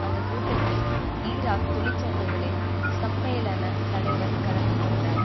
அந்த கூட்டத்தில் ஈராக் தொழிற்சங்கங்களின் சம்மேளன தலைவர் கலந்துகொண்டார்